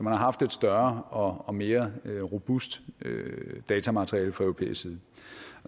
har haft et større og mere robust datamateriale fra europæisk side